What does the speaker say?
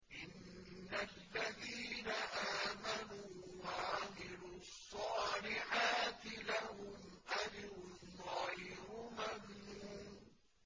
إِنَّ الَّذِينَ آمَنُوا وَعَمِلُوا الصَّالِحَاتِ لَهُمْ أَجْرٌ غَيْرُ مَمْنُونٍ